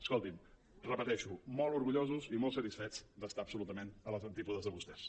escolti’m ho repeteixo molt orgullosos i molt satisfets d’estar absolutament a les antípodes de vostès